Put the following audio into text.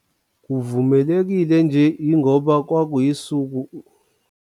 Kuvumelekile nje yingoba kwakuyisuku.